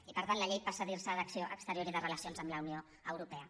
i per tant la llei passa a dir se d’acció exterior i de relacions amb la unió europea